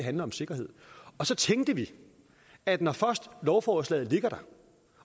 handler om sikkerhed og så tænkte vi at når først lovforslaget ligger der